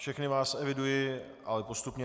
Všechny vás eviduji, ale postupně.